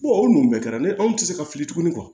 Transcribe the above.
o nn kɛ ni anw tɛ se ka fili tuguni